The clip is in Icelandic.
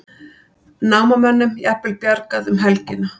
Námamönnum jafnvel bjargað um helgina